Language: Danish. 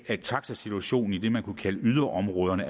at taxasituationen i det man kunne kalde yderområderne